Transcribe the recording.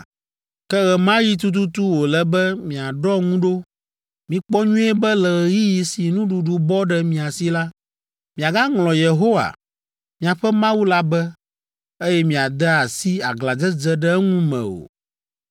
“Ke ɣe ma ɣi tututu wòle be miaɖɔ ŋu ɖo! Mikpɔ nyuie be le ɣeyiɣi si nuɖuɖu bɔ ɖe mia si la, miagaŋlɔ Yehowa, miaƒe Mawu la be, eye miade asi aglãdzedze ɖe eŋu me o.